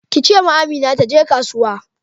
Ki ce ma Amina taje kasuwa.